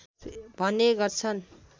भन्ने गर्छन्